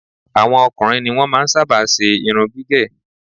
Àwọn ọkùnrin ní wọn máa ń sábà ṣe iṣẹ́ irun gígẹ̀